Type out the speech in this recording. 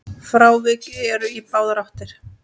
Frávik eru í báðar áttir.